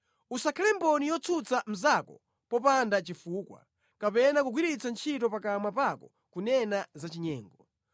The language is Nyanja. Usakhale mboni yotsutsa mnzako popanda chifukwa, kapena kugwiritsa ntchito pakamwa pako kunena zachinyengo.